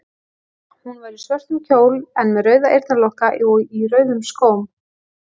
Hún var í svörtum kjól en með rauða eyrnalokka og í rauðum skóm.